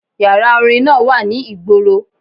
Yàrá orin náà wà ní ìgboro.